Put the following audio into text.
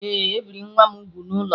Ee, e biri nwa m úgwù n’ụlọ